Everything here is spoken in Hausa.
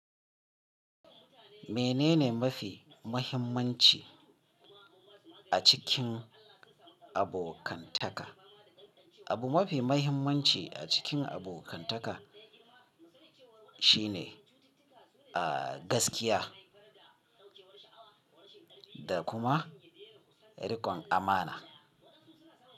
Menene mafi muhimmanci a cikin abokantaka? Abu mafi muhimmanci a cikin abokantaka shine, a gaskiya da kuma riƙon amana.